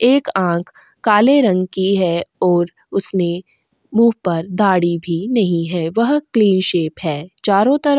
एक आंख काले रंग की है और उसने मुंह पर दाढ़ी भी नहीं है वह क्लीन शेव है चारों तरफ --